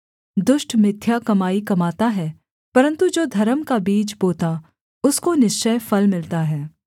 दुष्ट मिथ्या कमाई कमाता है परन्तु जो धर्म का बीज बोता उसको निश्चय फल मिलता है